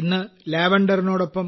ഇന്ന് ലാവൻഡറിനോടൊപ്പം